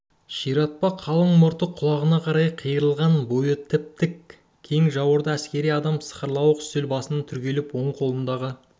ширатпа қалың мұрты құлағына қарай қайырылған бойы тіп-тік кең жауырынды әскери адам сықырлауық үстел басынан түрегеліп оң қолындағы